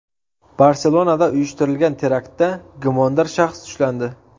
Barselonada uyushtirilgan teraktda gumondor shaxs ushlandi.